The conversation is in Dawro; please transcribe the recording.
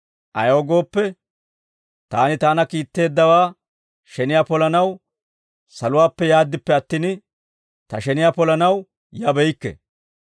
Ayaw gooppe, taani taana kiitteeddawaa sheniyaa polanaw saluwaappe yaaddippe attin, ta sheniyaa polanaw yabeykke.